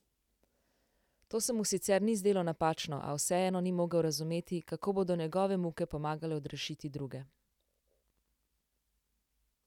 To se mu sicer ni zdelo napačno, a vseeno ni mogel razumeti, kako bodo njegove muke pomagale odrešiti druge.